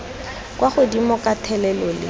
kwa godimo ka thelelo le